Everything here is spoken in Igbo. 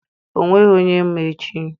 Onweghi onye ma echi.